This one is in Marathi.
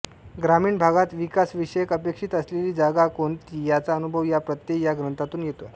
ग्रामीण भागात विकासविषयक अपेक्षित असलेली जाग कोणती याचा अनुभव या प्रत्यय या ग्रंथातून येतो